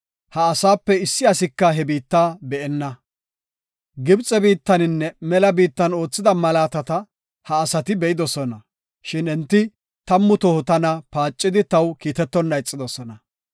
ha asaape issi asika he biitta be7enna. Gibxe biittaninne mela biittan oothida malaatata ha asati be7idosona; shin enti tammu toho tana paacidi taw kiitetonna ixidosona.